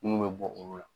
Mun bɛ bɔ olu la